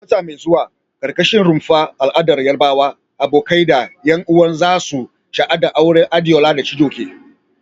Wata mai zuwa, a karkashin rumfar al'adar Yarbawa, abokai da 'yan uwa za su shaida auren Adeola da Chijioke.